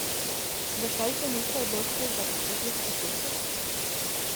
Zakaj se niste odločili za popotno skicirko?